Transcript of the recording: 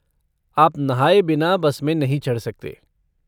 आप नहाए बिना बस में नहीं चढ़ सकते।